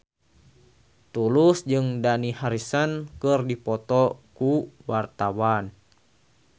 Tulus jeung Dani Harrison keur dipoto ku wartawan